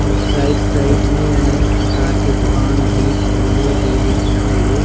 और side side में अनेक प्रकार के दूकान भी खोले गइल हवे।